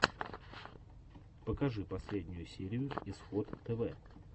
покажи последнюю серию исход тв